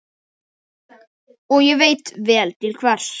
Og ég veit vel til hvers.